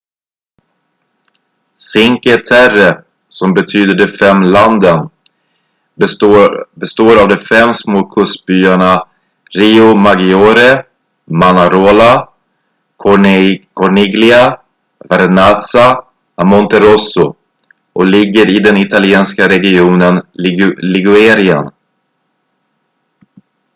cinque terre som betyder de fem landen består av de fem små kustbyarna riomaggiore manarola corniglia vernazza och monterosso och ligger i den italienska regionen ligurien